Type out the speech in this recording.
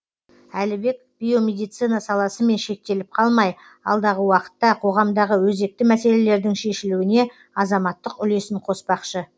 әлібек биомедицина саласымен шектеліп қалмай алдағы уақытта қоғамдағы өзекті мәселелердің шешілуіне азаматтық үлесін қоспақшы